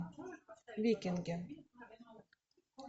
викинги